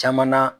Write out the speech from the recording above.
Caman na